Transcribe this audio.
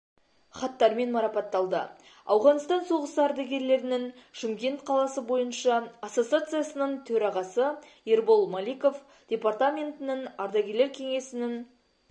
хаттармен марапатталды ауғанстан соғысы ардагерлерінің шымкент қаласы бойынша ассоциациясының төрағасы ербол маликов департаментінің ардагерлер кеңесінің